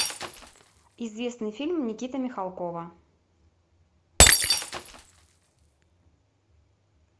известный фильм никиты михалкова